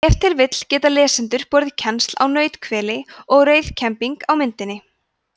ef til vill geta lesendur borið kennsl á nauthveli og rauðkembing á myndinni